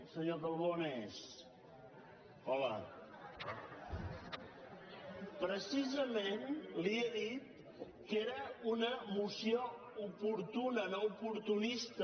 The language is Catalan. senyor calbó on és li he dit que era una moció oportuna no oportunista